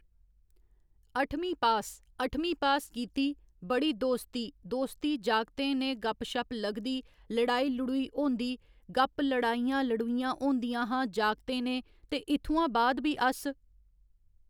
अठमीं पास अठमीं पास कीती बड़ी दोस्ती दास्ती जागतें ने गपशप लगदी लड़ाई लड़ूई होंदी गप लड़ाई लड़ूइयां होंदियां हां जागतें ने ते इत्थुआं बाद भी अस